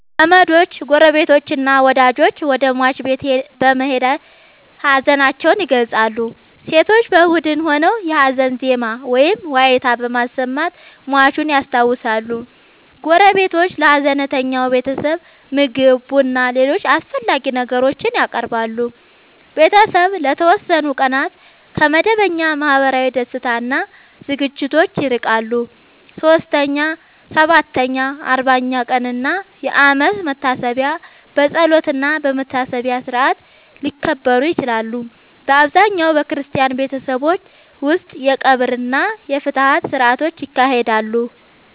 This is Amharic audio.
ዘመዶች፣ ጎረቤቶችና ወዳጆች ወደ ሟች ቤት በመሄድ ሀዘናቸውን ይገልጻሉ። ሴቶች በቡድን ሆነው የሀዘን ዜማ ወይም ዋይታ በማሰማት ሟቹን ያስታውሳሉ። ጎረቤቶች ለሀዘንተኛው ቤተሰብ ምግብ፣ ቡናና ሌሎች አስፈላጊ ነገሮችን ያቀርባሉ። ቤተሰቡ ለተወሰኑ ቀናት ከመደበኛ ማህበራዊ ደስታ እና ዝግጅቶች ይርቃል። 3ኛ፣ 7ኛ፣ 40ኛ ቀን እና የአመት መታሰቢያ በጸሎትና በመታሰቢያ ሥርዓት ሊከበሩ ይችላሉ። በአብዛኛው በክርስቲያን ቤተሰቦች ውስጥ የቀብር እና የፍትሐት ሥርዓቶች ይካሄዳሉ።